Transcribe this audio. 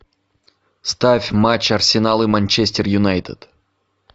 ставь матч арсенал и манчестер юнайтед